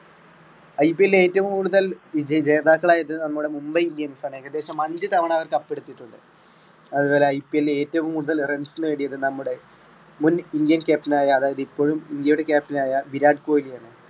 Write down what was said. IPL ഏറ്റവും കൂടുതൽ ജേ~ജേതാക്കളായത് നമ്മുടെ മുംബൈ indian സാണ് ഏകദേശം അഞ്ച് തവണ അവർ കപ്പടിച്ചിട്ടുണ്ട്. അത്പോലെ IPL ഏറ്റവും കൂടുതൽ runs നേടിയത് നമ്മുടെ മുൻ ഇന്ത്യൻ captain ആയ അതായത് ഇപ്പോഴും ഇന്ത്യയുടെ captain ആയ വിരാട് കോഹ്ലിയാണ്.